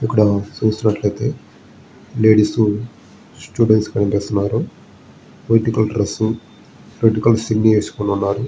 ఇక్కడ చూసినట్లయితే ladies students కనిపిస్తున్నారు. White colour dress red colour చున్నీ ఏసుకుని ఉన్నారు.